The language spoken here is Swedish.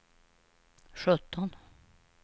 sjutton